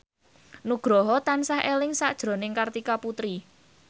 Nugroho tansah eling sakjroning Kartika Putri